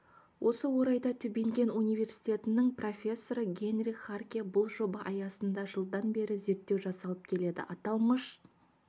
осы орайда тюбинген университетінің профессоры генрих харке бұл жоба аясында жылдан бері зерттеу жасалып келеді аталмыш